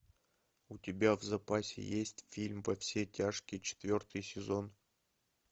у тебя в запасе есть фильм во все тяжкие четвертый сезон